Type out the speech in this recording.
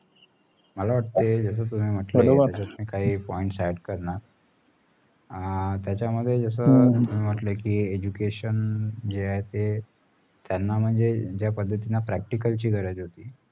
मला वाटतंय जसा तुम्ही म्हटले काही points add करणार हा त्याचा मध्ये जस तुम्ही म्हटलें कि education जे आहेत ते त्याना म्हणजे पद्धतींनी प practical ची गरज होती